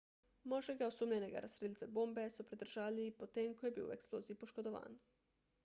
moškega osumljenega razstrelitve bombe so pridržali potem ko je bil v eksploziji poškodovan